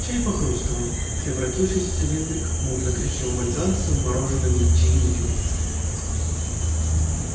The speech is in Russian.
чай похрустывал превратившись в цилиндрик мутно-коричневого льда со вмороженными чаинками